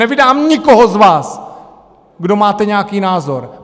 Nevydám nikoho z vás, kdo máte nějaký názor.